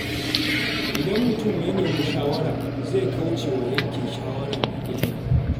Idan mutum ya nemi shawara, zai kauce wa yanke shawara mai illa.